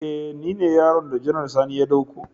E ni ne yaron da Janar Sani ya dauko